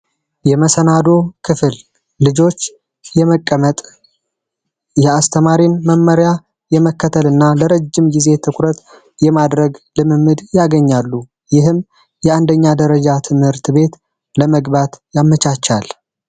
የመሰናዶ ክፍል ልጆች የመቀመጥ የአስተማሪን መመሪያ የመከተል ና ለረጅም ጊዜ ትኩረት የማድረግ ልምምድ ያገኛሉ። ይህም የአንደኛ ደረጃ ትምህርት ቤት ለመግባት ያመቻቻል።